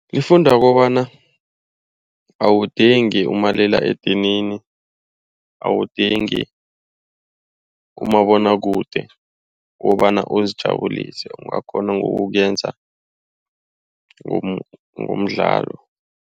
Lifunda kobana awudingi umaliledinini, awudingi umabonwakude ukobana ukuzijabulise. Ungakghona ukuwenza ngomdlalo.